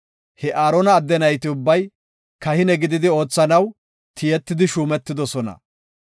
He Aarona adde nayti ubbay, kahine gididi oothanaw tiyetidi shuumetidosona.